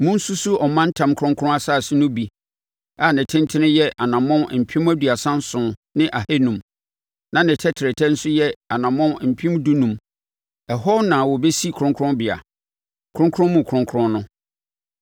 Monsusu ɔmantam kronkron asase no mu bi a ne tentene yɛ anammɔn mpem aduasa nson ne ahanum (37,500) na ne tɛtrɛtɛ nso yɛ anammɔn mpem dunum (15,000). Ɛhɔ na wɔbɛsi kronkronbea, Kronkron Mu Kronkron no.